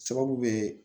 Sababu be